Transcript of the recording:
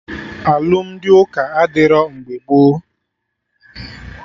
Alụmdi ụka adịrọ mgbe gboo